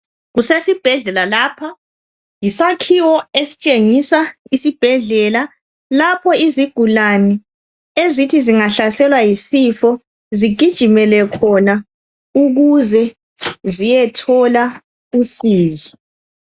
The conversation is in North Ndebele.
Kusesibhedlela lapha. Yisakhiwo estshengisa esibhedlela lapho izigulane ezithi zingahlaselwa yisifo zigijimele khona ukuze ziyethola usizo.